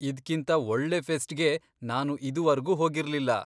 ಇದ್ಕಿಂತ ಒಳ್ಳೆ ಫೆಸ್ಟ್ಗೆ ನಾನು ಇದುವರ್ಗೂ ಹೋಗಿರ್ಲಿಲ್ಲ.